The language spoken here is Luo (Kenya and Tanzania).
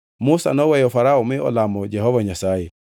Musa noweyo Farao mi olamo Jehova Nyasaye.